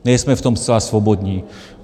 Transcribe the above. Nejsme v tom zcela svobodní.